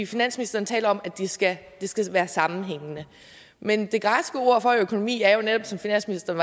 finansministeren taler om at det skal skal være sammenhængende men det græske ord for økonomi er jo netop som finansministeren